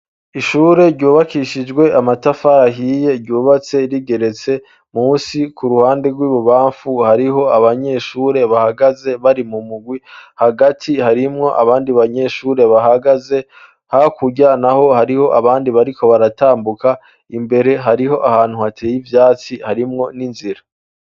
Ishure ryubakishijwe amatafarahiye ryubatse rigeretse musi ku ruhande rw'ibubamfu hariho abanyeshure bahagaze bari mu mugwi hagati harimwo abandi banyeshure bahagaze ha kuryanaho hariho abandi bariko baratambuka imbere hariho ahantu hateye ivyatsi harimwo ninzira.